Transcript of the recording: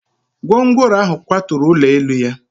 Gwongworo ahụ kwaturu ụlọ elu ya